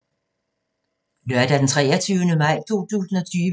Lørdag d. 23. maj 2020